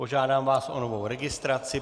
Požádám vás o novou registraci.